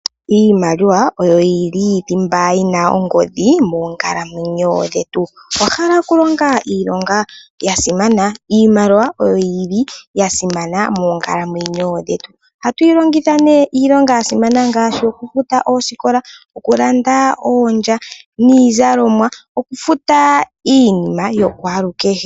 Iimaliwa oyo yili thimba yina ongodhi moonkalamwenyo dhetu. Owahala okulonga iilonga yasimana iimaliwa oyo yili yasimana moonkalamwenyo dhetu ohatu yi longitha nee iilonga yasimana ngaashi okufuta oosikola, okulanda oondja niizalomwa nokufuta iinima yakwaalukeshe.